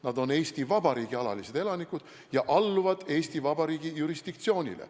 Nad on Eesti Vabariigi alalised elanikud ja alluvad Eesti Vabariigi jurisdiktsioonile.